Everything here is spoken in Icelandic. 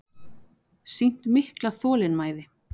Sýnt mikla þolinmæði